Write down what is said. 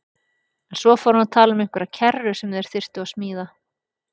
En svo fór hann að tala um einhverja kerru sem þeir þyrftu að smíða.